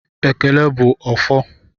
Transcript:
Ekele bụ ọfọ